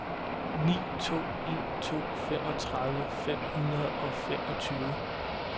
ni to en to femogtredive fem hundrede og femogtyve